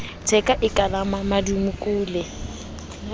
letheka e ka la mmamodukule